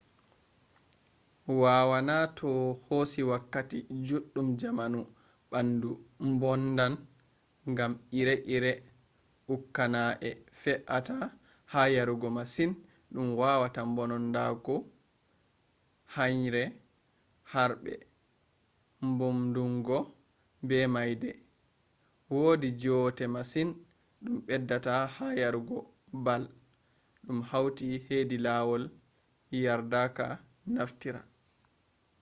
waawana toh hosi wakkati juddum jamanu bandu mbononndan gam ire-ire ukkaana'e fe'ata ha yarugo masin dum wawata mbononndungo henyre harbe mbumndungo be maayde. wodi joote masin dum beddata ha yarugo bal dum hauti hedi lawol yardaka naftira